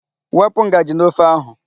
Wepụ ngaji n'ofe ahụ.